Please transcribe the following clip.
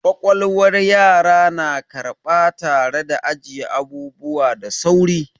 Ƙwaƙwalwar yara na karɓa tare da ajiye abubuwa da sauri.